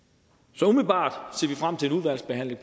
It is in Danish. så umiddelbart ser vi frem til en udvalgsbehandling